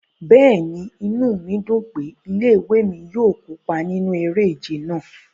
Bẹ́ẹ̀ni, inu mi dun pe ile-iwe mi yóò kopa ninu ere-ije náa